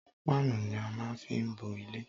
Páánù ni á má fí ń bo ilé.